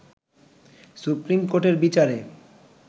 supreme কোর্টের বিচারে